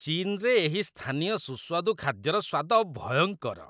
ଚୀନ୍‌ରେ ଏହି ସ୍ଥାନୀୟ ସୁସ୍ୱାଦୁ ଖାଦ୍ୟର ସ୍ୱାଦ ଭୟଙ୍କର!